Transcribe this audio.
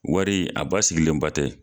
Wari a ba sigilenbatɛ